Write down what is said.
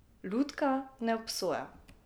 Lutka ne obsoja.